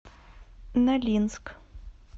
нолинск